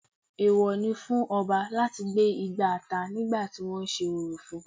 Èwọ ni fún Ọba láti gbé igbá ata nígbà tí wọ́n sé orò fún-un